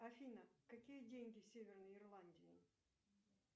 афина какие деньги в северной ирландии